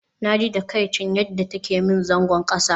Naji takaicin yadda take min zagon kasa